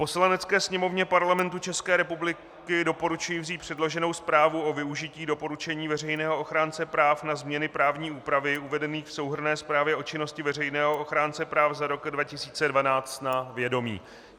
Poslanecké sněmovně Parlamentu České republiky doporučuji vzít předloženou zprávu o využití doporučení veřejného ochránce práv na změny právní úpravy uvedených v souhrnné zprávě o činnosti veřejného ochránce práv za rok 2012 na vědomí.